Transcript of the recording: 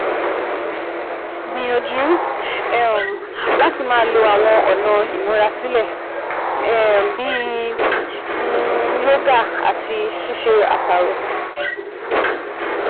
Gbìyànjú um láti máa lo àwọn ọ̀nà ìmúra sílẹ̀ um bí um yoga àti ṣíṣe àṣàrò